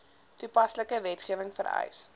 toepaslike wetgewing vereis